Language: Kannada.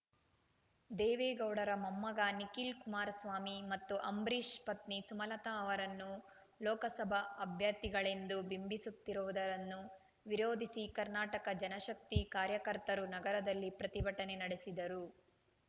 ದೇವೇಗೌಡರ ಮೊಮ್ಮಗ ನಿಖಿಲ್‌ ಕುಮಾರಸ್ವಾಮಿ ಮತ್ತು ಅಂಬರೀಷ್‌ ಪತ್ನಿ ಸುಮಲತಾ ಅವರನ್ನು ಲೋಕಸಭಾ ಅಭ್ಯರ್ಥಿಗಳೆಂದು ಬಿಂಬಿಸುತ್ತಿರುವುದನ್ನು ವಿರೋಧಿಸಿ ಕರ್ನಾಟಕ ಜನಶಕ್ತಿ ಕಾರ್ಯಕರ್ತರು ನಗರದಲ್ಲಿ ಪ್ರತಿಭಟನೆ ನಡೆಸಿದರು